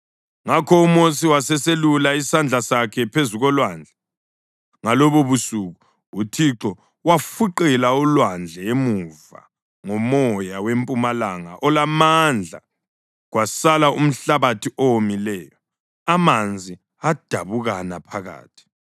Ngakho uMosi waseselulela isandla sakhe phezu kolwandle, ngalobobusuku uThixo wafuqela ulwandle emuva ngomoya wempumalanga olamandla kwasala umhlabathi owomileyo. Amanzi adabukana phakathi,